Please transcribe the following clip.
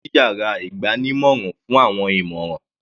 Sunday lọ sí yàrá ìgbanímọ̀ràn fún àwọn ìmọ̀ràn.